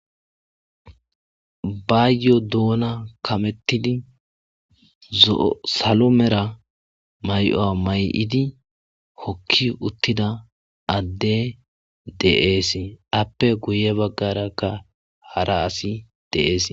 Bayo doona kamettidi zo,o salo mera may,o a may7idi hokki uttida adde deees appe guye baggarakka hara asi deees.